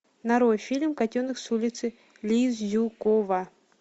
нарой фильм котенок с улицы лизюкова